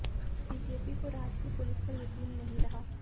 BJP को राज्य की पुलिस पर यकीन नहीं रहा